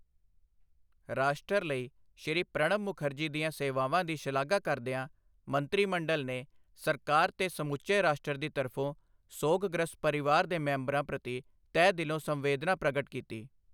ਰਾਸ਼ਟਰ ਲਈ ਸ਼੍ਰੀ ਪ੍ਰਣਬ ਮੁਖਰਜੀ ਦੀਆਂ ਸੇਵਾਵਾਂ ਦੀ ਸ਼ਲਾਘਾ ਕਰਦਿਆਂ ਮੰਤਰੀ ਮੰਡਲ ਨੇ ਸਰਕਾਰ ਤੇ ਸਮੁੱਚੇ ਰਾਸ਼ਟਰ ਦੀ ਤਰਫ਼ੋਂ ਸੋਗਗ੍ਰਸਤ ਪਰਿਵਾਰ ਦੇ ਮੈਂਬਰਾਂ ਪ੍ਰਤੀ ਤਹਿ ਦਿਲੋਂ ਸੰਵੇਦਨਾ ਪ੍ਰਗਟ ਕੀਤੀ ਹੈ।